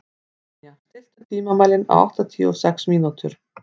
Ninja, stilltu tímamælinn á áttatíu og sex mínútur.